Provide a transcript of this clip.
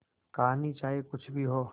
कहानी चाहे कुछ भी हो